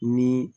Ni